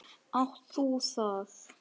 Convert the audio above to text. Átt þú það?